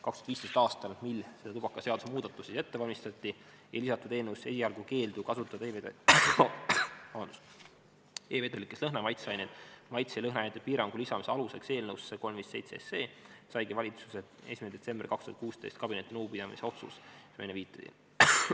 2015. aastal, mil tubakaseaduse muudatusi ette valmistati, ei lisatud eelnõusse esialgu keeldu kasutada e-vedelikes lõhna- ja maitseaineid, vaid lõhnaainete piirangu eelnõusse 357 lisamise aluseks saigi valitsuse 1. detsembri 2016. aasta kabinetinõupidamise otsus, millele ma enne viitasin.